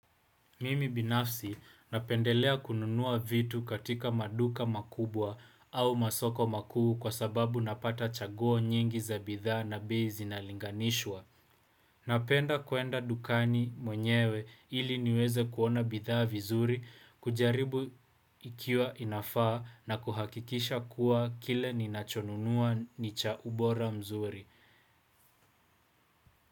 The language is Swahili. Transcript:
Mimi binafsi napendelea kununua vitu katika maduka makubwa au masoko makuu kwa sababu napata chaguo nyingi za bidhaa na bei zinalinganishwa. Napenda kuenda dukani mwenyewe ili niweze kuona bidhaa vizuri, kujaribu ikiwa inafaa na kuhakikisha kuwa kile ninachonunua ni cha ubora mzuri.